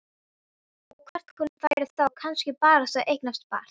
Og hvort hún færi þá kannski barasta að eignast barn.